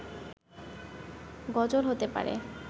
গজল হতে পারে